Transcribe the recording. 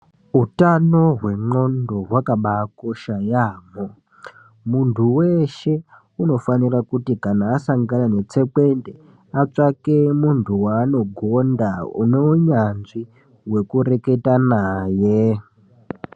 Hutano hwendxondo hwakabatikosha yaamho. Muntu weshe unofana kuti kana wasangana netsekwende atsvake muntu waanogonda une unyatsvi we kureketa naye.